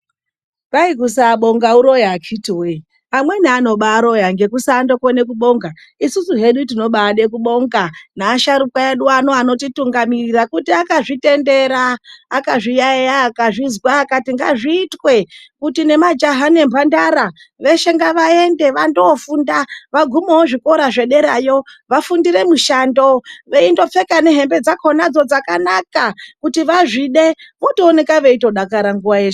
Kwai kusabonga uroyi. Amweni anobaroya nekusakona kubonga. Isusu hedu tinobade kubonga neana asharukwa edu anotitungamirira kuti akazvitendera, akazviyayeya, akazvizwa kuti ngazviitwe kuti nemajaha nemhandara veshe ngavaende vangofunda vagume zvikora zvederawo. Vasvikewo vachifundira mishando, veindopfeka nehembe dzakona dzakanaka kuti vazvide votoonekwa veidakara nguva dzose.